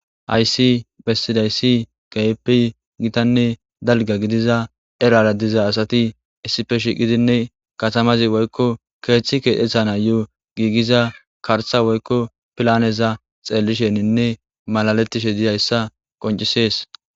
Haysi besizaysi kehipe gitane dalga gidiza erara diza asati issipe shiiqidine katamazi woyko keethi keexetanayo giigiza karta woyko pilaneza xeelishenine malaletishe dizaysata qoncises.